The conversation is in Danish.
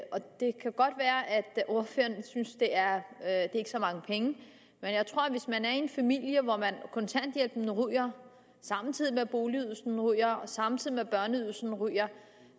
ordføreren ikke synes det er så mange penge men jeg tror at hvis man er i en familie hvor kontanthjælpen ryger samtidig med at boligydelsen ryger og samtidig med at børneydelsen ryger